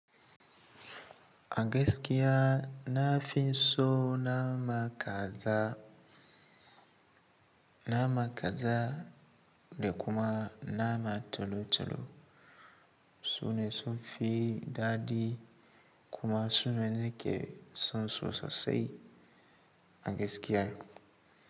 A gaskiya na fi so nama kaza, nama kaza da kuma nama tolo-tolo, sune sun fi dadi kuma sune na ke son su sosai a gaskiya.